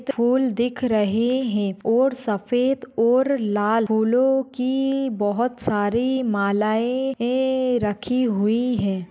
फूल दिख रहे है। और सफ़ेद और लाल फूलों की बहुत सारी मालाये है रखी हुई है।